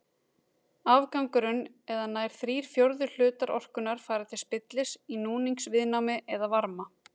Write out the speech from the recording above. Afgangurinn eða nær þrír fjórðu hlutar orkunnar fara til spillis í núningsviðnámi eða varma.